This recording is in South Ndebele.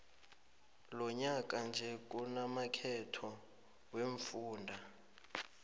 lonyaka nje kunamakhetho wemfunda